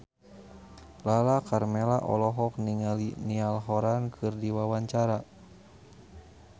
Lala Karmela olohok ningali Niall Horran keur diwawancara